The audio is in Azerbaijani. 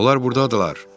Onlar burdadırlar!